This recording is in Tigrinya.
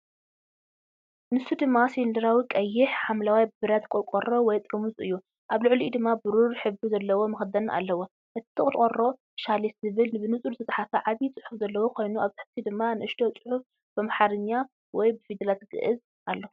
ንሱ ድማ ሲሊንደራዊ ቀይሕ-ሓምላይ ብረት ቆርቆሮ ወይ ጥርሙዝ እዩ። ኣብ ልዕሊኡ ድማ ብሩር ሕብሪ ዘለዎ መኽደኒ ኣለዎ። እቲ ቆርቆሮ "ሻሊስ" ዝብል ብንጹር ዝተጻሕፈ ዓቢ ጽሑፍ ዘለዎ ኮይኑ፡ ኣብ ታሕቲ ድማ ንእሽቶ ጽሑፍ፡ ብኣምሓርኛ (ብፊደላት ገዕዝ) ኣሎ።